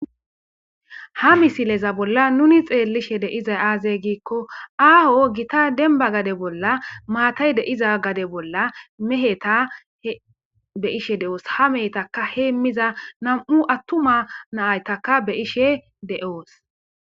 Ha misileza bolla nuni xeellishe deizay aazey giikko aaho gita demba gade bolla maatay deiza gade bolla meheta be ishe de'oos ha mehetaka heemmiza nam'u attuma naaytaka be ishe de'oos.